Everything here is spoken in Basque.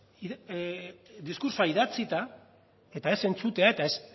diskurtsoa idatzita eta ez entzutea eta ez